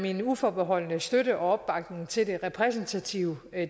en uforbeholden støtte og opbakning til det repræsentative